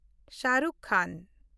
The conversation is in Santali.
ᱥᱟᱦᱨᱩᱠᱷ ᱠᱷᱟᱱ